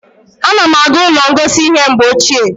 A na m aga ụlọ ngosi ihe mgbe ochie